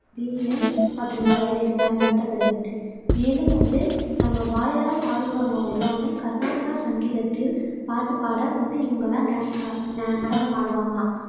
வீணை மற்றும் வயலின் பயன்படுத்தபடுகிறது மேலும் வந்து நம்ம வாயால பாடுபவர் எல்லாமே கர்நாடக சங்கீதத்தில் பாட்டுப்பாட வந்து இவங்க எல்லாம் டான்ஸ் ஆட நடனம் ஆடுவாங்கலாம்